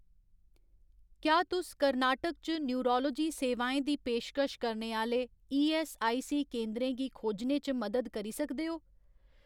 क्या तुस कर्नाटक च नयूरालोजी सेवाएं दी पेशकश करने आह्‌ले ईऐस्सआईसी केंदरें गी खोजने च मदद करी सकदे ओ ?